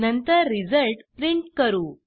नंतर result print करू